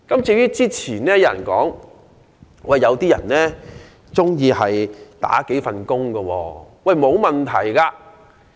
至於較早前有人說，有導遊喜歡身兼數份工作，這也沒有問題。